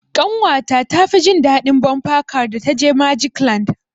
Ƙanwa ta tafi jin daɗin bumper car da ta je magic land.